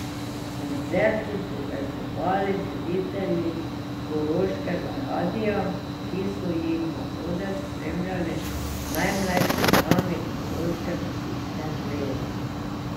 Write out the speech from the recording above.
Koncert so povezovali voditelji Koroškega radia, ki so jih na oder spremljali najmlajši člani koroške gasilske zveze.